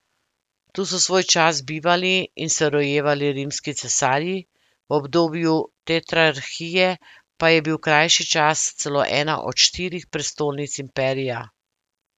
Tu so svoj čas bivali in se rojevali rimski cesarji, v obdobju tetrarhije pa je bil krajši čas celo ena od štirih prestolnic imperija.